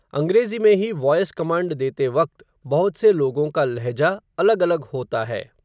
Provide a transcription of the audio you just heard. अंग्रेज़ी में ही वॉयस कमांड देते वक़्त, बहुत से लोगों का लहजा, अलग-अलग होता है.